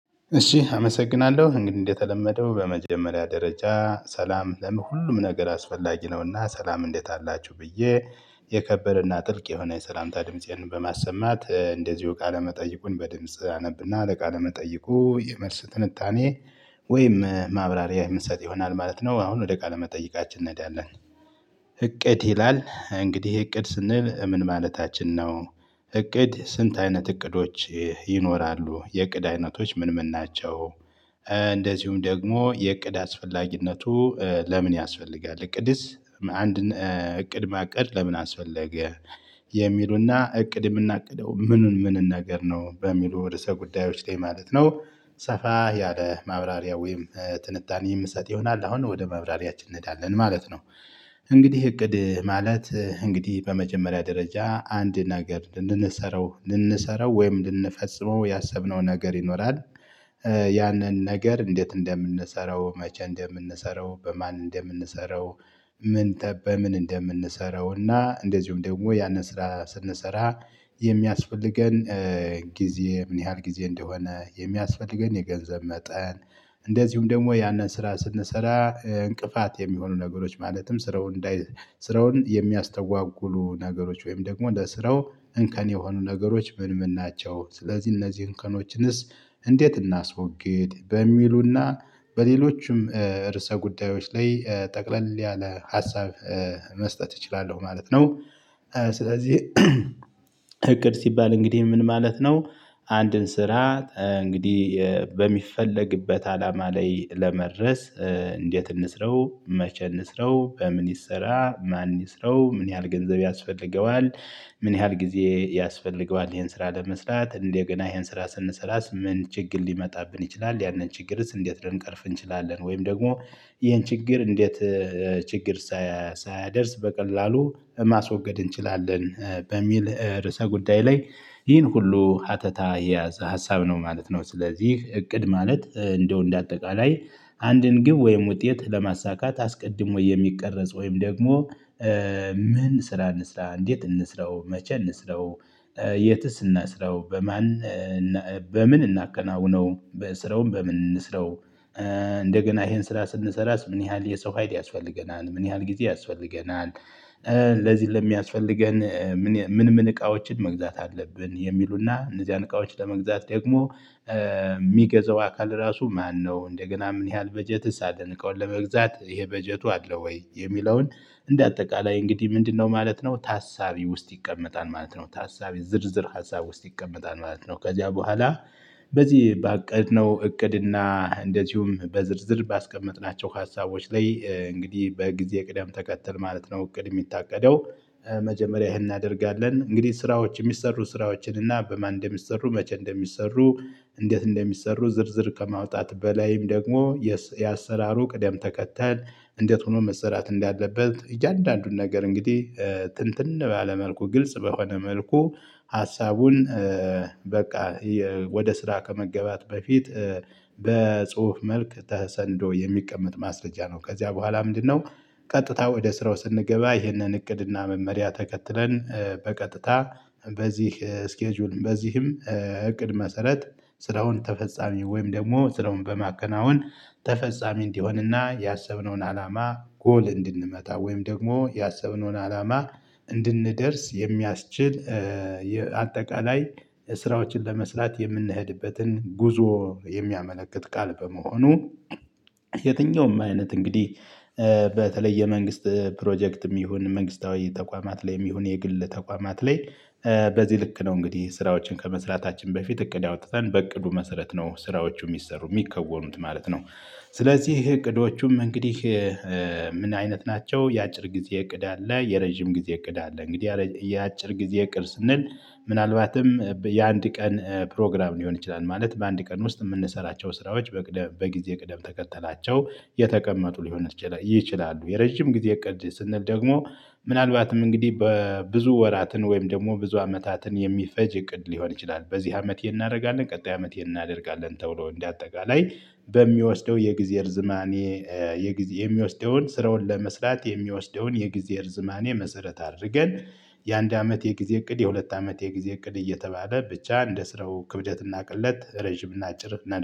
እሺ አመሰግናለሁ እንግዲህ እንደተለመደው በመጀመሪያ ደረጃ ሰላም ለሁሉም ነገር አስፈላጊ ነውና ሰላም እንዴት አላችሁ ብዬ የከበረና ጥልቅ የሆነ የሰላምታ ድምፄን በማሰማት እንደዚሁ ካለመጠየቁን በድምጽ አነብና ለቃለ መጠይቁ የመልስ ትንታኔ ወይም ማብራሪያ የምሰጥ ይሆናል ማለት ነው። አሁን ወደ ቃለ መጠይቃችን እንሄዳለን። እቅድ ይላል እንግዲህ እቅድ ስንል ምን ማለታችን ነው? እቅድ ስንት አይነት እቅዶች ይኖራሉ የእቅድ አይነቶች ምን ምን ናቸው? እንደዚሁም ደግሞ የእቅድ አስፈላጊነቱ ለምን ያስፈልጋል እቅድስ አንድን እቅድ ማቀድ ለምን አስፈለገ? የሚሉና እቅድ የምናቅደው ምኑን ምንን ነገር ነው በሚሉ ርዕሰ ጉዳዮች ማለት ነው። ሰፋ ያለ ማብራሪያ ወይም ትንታኔ የምሰጥ ይሆናል አሁን ወደ ማብራሪያችን እንሄዳለን ማለት ነው። እንግዲህ እቅድ ማለት እንግዲህ በመጀመሪያ ደረጃ አንድ ነገር ልንሰራው ልንሰራው ወይም ልንፈጽመው ያሰብነው ነገር ይኖራል። ያንን ነገር እንዴት እንደምንሰራው መቼ እንደምንሰራው በማን እንደምንሰራው? ምን በምን እንደምንሰራው እና እንደዚሁም ደግሞ ያንን ስራ ስንሰራ የሚያስፈልገን ጊዜ ምን ያህል ጊዜ እንደሆነ የሚያስፈልገን የገንዘብ መጠን። እንደዚሁም ደግሞ ያንን ስራ ስንሰራ እንቅፋት የሚሆኑ ነገሮች ማለትም ስራው እንዳይ ስራውን የሚያስተጓጉሉ ነገሮች ወይም ደግሞ ለስራው እንከን የሆኑ ነገሮች ምን ምን ናቸው? ስለዚህ እነዚህ እንከኖችንስ እንዴት እናስወግድ በሚሉና በሌሎችም ርዕሰ ጉዳዮች ላይ ጠቅለል ያለ ሀሳብ። መስጠት እችላለሁ ማለት ነው። ስለዚህ እቅድ ሲባል እንግዲህ ምን ማለት ነው? አንድን ስራ እንግዲህ በሚፈለግበት አላማ ላይ ለመድረስ እንዴት እንስራው መቼ እንስራው በምን ይሰራ ማን ይስራው ምን ያህል ገንዘብ ያስፈልገዋል? ምን ያህል ጊዜ ያስፈልገዋል ይሄን ስራ ለመስራት እንደገና ይሄን ስራ ስንሰራስ ምን ችግር ሊመጣብን ይችላል ያንን ችግርስ እንዴት ልንቀርፍ እንችላለን? ወይም ደግሞ ይሄን ችግር እንዴት ችግር ሳያደርስ በቀላሉ ማስወገድ እንችላለን? በሚል ርዕሰ ጉዳይ ላይ ይህን ሁሉ ሀተታ የያዘ ሀሳብ ነው ማለት ነው። ስለዚህ እቅድ ማለት እንደው እንደ አጠቃላይ አንድን ግብ ወይም ውጤት ለማሳካት አስቀድሞ የሚቀረጽ ወይም ደግሞ ምን ስራ እንስራ እንዴት እንስራው መቼ እንስራው? የትስ እናሰራው በማን በምን እናከናውነው ስራውን በምን እንስራው? እንደገና ይሄን ስራ ስንሰራ ምን ያህል የሰው ሀይል ያስፈልገናል ምን ያህል ጊዜ ያስፈልገናል? ለዚህ ለሚያስፈልገን ምን ምን እቃዎችን መግዛት አለብን የሚሉና እነዚያን እቃዎች ለመግዛት ደግሞ የሚገዛው አካል ራሱ ማነው እንደገና ምን ያህል በጀትስ አለን እቃውን ለመግዛት ይሄ በጀቱ አለው ወይ የሚለውን? እንደ አጠቃላይ እንግዲህ ምንድነው ማለት ነው ታሳቢ ውስጥ ይቀመጣል ማለት ነው። ታሳቢ ዝርዝር ሀሳብ ውስጥ ይቀመጣል ማለት ነው። ከዚያ በኋላ በዚህ ባቀድነው እቅድና እንደዚሁም በዝርዝር ባስቀመጥናቸው ሀሳቦች ላይ እንግዲህ በጊዜ ቅደም ተከተል ማለት ነው እቅድ የሚታቀደው። መጀመሪያ ይሄን እናደርጋለን እንግዲህ ስራዎች የሚሰሩ ስራዎችን እና በማን እንደሚሰሩ መቼ እንደሚሰሩ እንዴት እንደሚሰሩ ዝርዝር ከማውጣት በላይም ደግሞ የአሰራሩ ቅደም ተከተል እንዴት ሆኖ መሰራት እንዳለበት እያንዳንዱን ነገር እንግዲህ ትንትን ባለ መልኩ ግልጽ በሆነ መልኩ ሀሳቡን በቃ ወደ ስራ ከመገባት በፊት። መልክ ተሰንዶ የሚቀመጥ ማስረጃ ነው ከዚያ በኋላ ምንድነው? ቀጥታ ወደ ስራው ስንገባ ይህንን እቅድና መመሪያ ተከትለን በቀጥታ በዚህ ስኬጁል በዚህም እቅድ መሰረት ስራውን ተፈጻሚ ወይም ደግሞ ስራውን በማከናወን ተፈጻሚ እንዲሆንና ያሰብነውን አላማ ጎል እንድንመታ ወይም ደግሞ ያሰብነውን አላማ እንድንደርስ የሚያስችል አጠቃላይ ስራዎችን ለመስራት የምንሄድበትን ጉዞ የሚያመለክት ቃል በመሆኑ። የትኛውም አይነት እንግዲህ በተለይ የመንግስት ፕሮጀክትም ይሁን መንግስታዊ ተቋማት ላይም ይሁን የግል ተቋማት ላይ በዚህ ልክ ነው እንግዲህ ስራዎችን ከመስራታችን በፊት እቅድ አውጥተን በእቅዱ መሰረት ነው ስራዎቹ የሚሰሩ የሚከወኑት ማለት ነው። ስለዚህ እቅዶቹም እንግዲህ ምን አይነት ናቸው? የአጭር ጊዜ እቅድ አለ የረጅም ጊዜ እቅድ አለ እንግዲህ የአጭር ጊዜ እቅድ ስንል ምናልባትም የአንድ ቀን ፕሮግራም ሊሆን ይችላል ማለት በአንድ ቀን ውስጥ የምንሰራቸው ስራዎች በቅደም በጊዜ ቅደም ተከተላቸው የተቀመጡ ሊሆን ይችላሉ። የረጅም ጊዜ እቅድ ስንል ደግሞ ምናልባትም እንግዲህ በብዙ ወራትን ወይም ደግሞ ብዙ አመታትን የሚፈጅ እቅድ ሊሆን ይችላል። በዚህ አመት ቀጣይ አመት ይሄን እናደርጋለን ተብሎ እንደ አጠቃላይ በሚወስደው የጊዜ እርዝማኔ የሚወስደውን ስራውን ለመስራት የሚወስደውን የጊዜ እርዝማኔ መሰረት አድርገን የአንድ አመት የጊዜ እቅድ የሁለት አመት የጊዜ እቅድ እየተባለ ብቻ እንደስረው ክብደት እና ቅለት ረጅም እና አጭር ነው